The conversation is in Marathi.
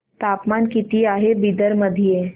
तापमान किती आहे बिदर मध्ये